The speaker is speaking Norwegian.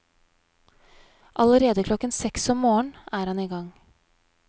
Allerede klokken seks om morgenen er han i gang.